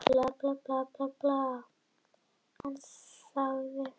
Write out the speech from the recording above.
Þegar hann átti hundrað metra ófarna sá hann ástæðuna, annað afturdekkið var sprungið.